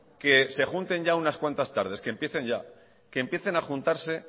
que se junten ya unas cuantas tardes que empiecen ya que empiecen a juntarse